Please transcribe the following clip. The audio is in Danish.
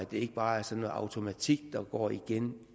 det ikke bare er sådan en automatik der går igen